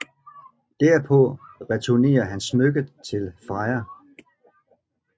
Derpå returnerer han smykket til Freja